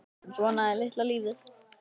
En svona er litla lífið.